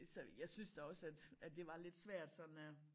Så jeg synes da også at at det var lidt svært sådan at